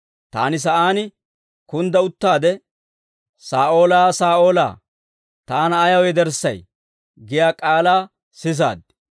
Taani sa'aan kundda uttaade, ‹Saa'oolaa, Saa'oolaa, taana ayaw yederssay?› giyaa k'aalaa sisaad.